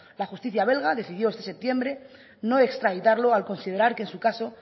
la justicia belga decidió este septiembre no extraditarlo al considerar que en su caso